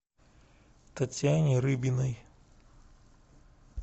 татьяне рыбиной